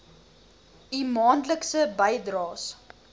u maandelikse bydraes